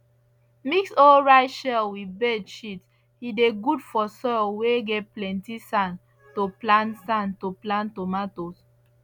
mix old rice shell with bird shit he dey good for soil whey get plenty sand to plant sand to plant tomatoes